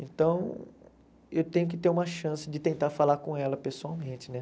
Então, eu tenho que ter uma chance de tentar falar com ela pessoalmente, né?